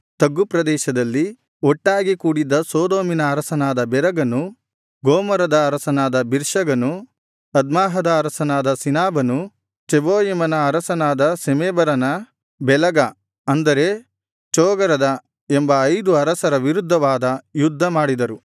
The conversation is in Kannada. ತಗ್ಗು ಪ್ರದೇಶದಲ್ಲಿ ಒಟ್ಟಾಗಿ ಕೂಡಿದ್ದ ಸೊದೋಮಿನ ಅರಸನಾದ ಬೆರಗನು ಗೊಮೋರದ ಅರಸನಾದ ಬಿರ್ಶಗನು ಅದ್ಮಾಹದ ಅರಸನಾದ ಶಿನಾಬನು ಚೆಬೋಯಿಮನ ಅರಸನಾದ ಶೆಮೇಬರನ ಬೇಲಗ ಅಂದರೆ ಚೋಗರದ ಎಂಬ ಐದು ಅರಸರ ವಿರುದ್ಧವಾಗಿ ಯುದ್ಧ ಮಾಡಿದರು